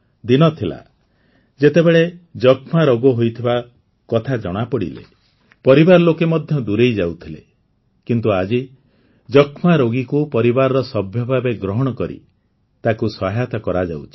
ଦିନ ଥିଲା ଯେତେବେଳେ ଯକ୍ଷ୍ମା ରୋଗ ହୋଇଥିବା କଥା ଜଣାପଡ଼ିଲେ ପରିବାର ଲୋକେ ମଧ୍ୟ ଦୂରେଇ ଯାଉଥିଲେ କିନ୍ତୁ ଆଜି ଯକ୍ଷ୍ମା ରୋଗୀକୁ ପରିବାରର ସଭ୍ୟ ଭାବେ ଗ୍ରହଣ କରି ତାକୁ ସହାୟତା କରାଯାଉଛି